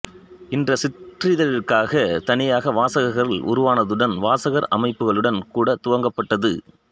இந்த சிற்றிதழ்களுக்காகத் தனியாக வாசகர்கள் உருவானதுடன் வாசகர் அமைப்புகளும் கூட துவங்கப்பட்டது